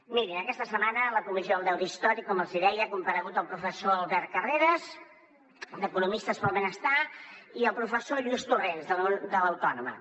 mirin aquesta setmana a la comissió del deute històric com els hi deia han comparegut el professor albert carreras d’economistes per al benestar i el professor lluís torrens de l’autònoma